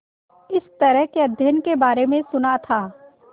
इस तरह के अध्ययन के बारे में सुना था